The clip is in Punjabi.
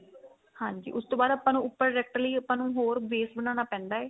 ਹਾਂਜੀ ਉਸ ਤੋਂ ਬਾਅਦ ਆਪਾਂ ਨੂੰ ਉੱਪਰ product ਲਈ ਆਪਾਂ ਨੂੰ ਹੋਰ base ਬਣਾਉਣਾ ਪੈਂਦਾ ਏ